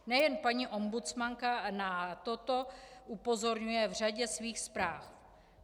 Nejen paní ombudsmanka na toto upozorňuje v řadě svých zpráv.